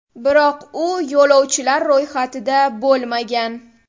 Biroq u yo‘lovchilar ro‘yxatida bo‘lmagan.